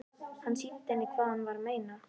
Hann sýndi henni hvað hann var að meina.